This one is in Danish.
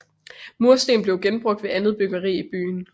Mursten blev genbrugt ved andet byggeri i byen